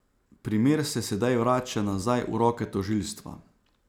Primer se sedaj vrača nazaj v roke tožilstva.